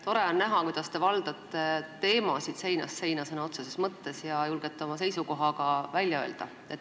Tore on näha, kuidas te valdate teemasid seinast seina ja julgete oma seisukoha ka välja öelda.